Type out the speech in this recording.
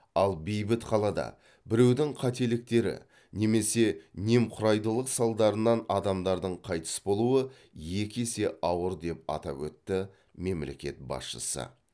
ал бейбіт қалада біреудің қателіктері немесе немқұрайдылық салдарынан адамдардың қайтыс болуы екі есе ауыр деп атап өтті мемлекет басшысы